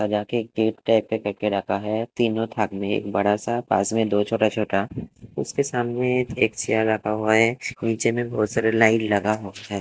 सजा के cake pack करके रखा है तीनों थान में एक बड़ा सा पास में दो छोटा छोटा उसके सामने एक चेयर रखा हुआ है नीचे में बहुत सारे लाइन लगा हुआ है।